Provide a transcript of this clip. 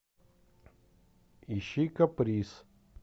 ищи каприз